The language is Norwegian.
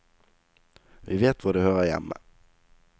Vi vet hvor det hører hjemme.